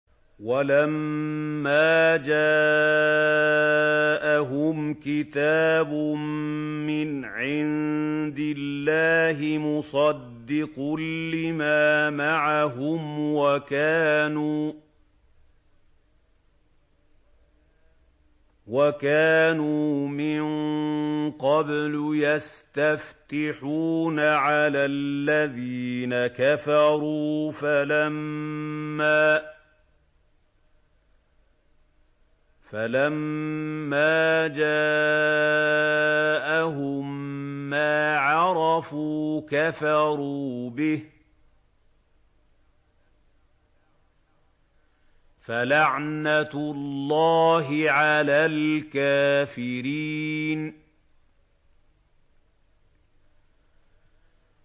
وَلَمَّا جَاءَهُمْ كِتَابٌ مِّنْ عِندِ اللَّهِ مُصَدِّقٌ لِّمَا مَعَهُمْ وَكَانُوا مِن قَبْلُ يَسْتَفْتِحُونَ عَلَى الَّذِينَ كَفَرُوا فَلَمَّا جَاءَهُم مَّا عَرَفُوا كَفَرُوا بِهِ ۚ فَلَعْنَةُ اللَّهِ عَلَى الْكَافِرِينَ